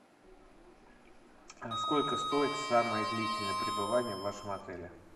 сколько стоит самое длительное пребывание в вашем отеле